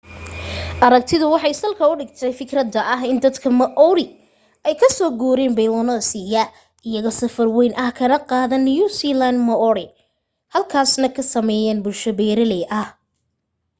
aragtidu waxay salka u dhigtay fikradda ah in dadka maori ay ka so guureen polynesia iyaga safar wayn ah kana qaadeen new zealand moriori halkaasna ka sameeyeen bulsho beeralay ah